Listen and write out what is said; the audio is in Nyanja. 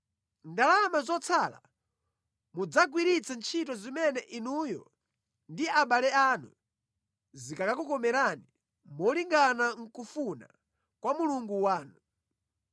Ndalama zotsala mudzagwiritse ntchito zimene inuyo ndi abale anu zikakukomerani malingana nʼkufuna kwa Mulungu wanu.